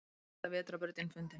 Elsta vetrarbrautin fundin